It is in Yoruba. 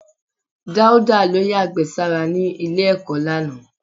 Dauda ló yàgbẹ́ sára ní ilé-ẹ̀kọ́ lánàá.